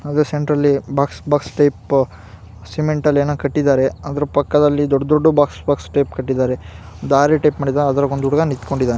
ಅದ್ central box box type ಸಿಮೆಂಟ್ನಲ್ಲಿ ಏನು ಕಟ್ಟಿದ್ದಾರೆ ಅದರ ಪಕ್ಕದಲ್ಲಿ ದೊಡ್ಚ್ ದೊಡ್ಚ್ ಬಾಕ್ಸ್ ಬಾಕ್ಸ್ ಟೈಪ್ ಕಟ್ಟಿದ್ದಾರೆ ದಾರಿ ಟೈಪ ಮಾಡಿದ್ದಾರೆ ಅದ್ರಲ್ಲಿ ಒಂದ ಹುಡ್ಗ ನಿಂತಕೊಂಡಿದ್ದಾನೆ .